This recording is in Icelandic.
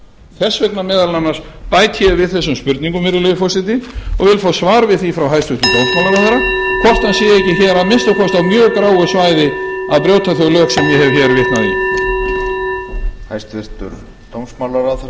þess vegna meðal annars bæti ég við þessum spurningum virðulegi forseti og vil fá svar við því frá hæstvirtum dómsmálaráðherra hvort hann sé ekki hér að minnsta kosti á mjög gráu svæði að brjóta þau lög sem ég hef hér vitnað í